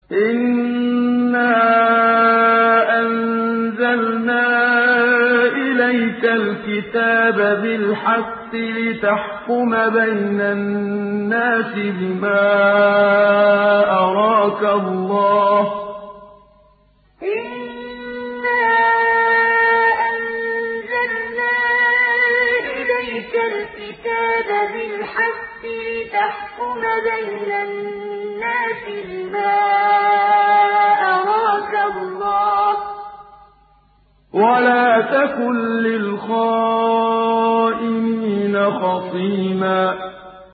إِنَّا أَنزَلْنَا إِلَيْكَ الْكِتَابَ بِالْحَقِّ لِتَحْكُمَ بَيْنَ النَّاسِ بِمَا أَرَاكَ اللَّهُ ۚ وَلَا تَكُن لِّلْخَائِنِينَ خَصِيمًا إِنَّا أَنزَلْنَا إِلَيْكَ الْكِتَابَ بِالْحَقِّ لِتَحْكُمَ بَيْنَ النَّاسِ بِمَا أَرَاكَ اللَّهُ ۚ وَلَا تَكُن لِّلْخَائِنِينَ خَصِيمًا